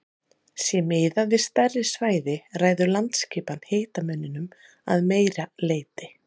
Sé miðað við stærri svæði ræður landaskipan hitamuninum að meira leyti.